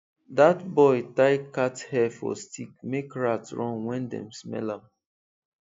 that boy tie cat hair for stick make rat run when dem smell am